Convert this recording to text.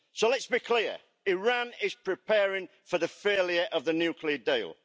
So let's be clear Iran is preparing for the failure of the nuclear deal.